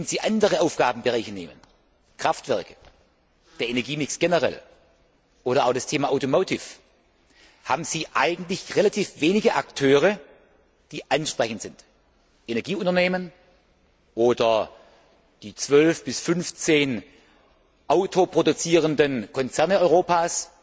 Bei anderen Aufgabenbereichen, Kraftwerken, dem Energiemix generell oder auch dem Thema haben Sie eigentlich relativ wenige Akteure, die anzusprechen sind Energieunternehmen oder die 12 bis 15 autoproduzierenden Konzerne Europas.